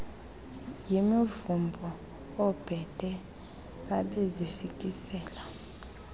yimivumbo oobhede babezifikisela